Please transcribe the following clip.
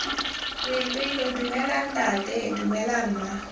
boipelo dumela ntata dumela mma